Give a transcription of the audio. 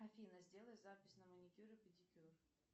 афина сделай запись на маникюр и педикюр